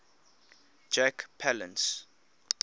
jack palance